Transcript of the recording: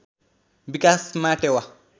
विकासमा टेवा